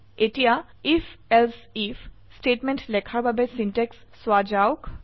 এতিয়া IfElse IF statement লেখাৰ বাবে সিনট্যাক্স চোৱা যাওক